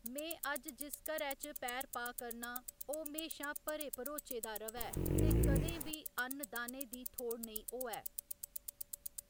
में अज्ज जिस घरै च पैर पा करनां, ओह्‌‌ म्हेशां भरे भरोचे दा र'वै ते कदें बी अन्न दाने दी थोड़ नेईं होऐ।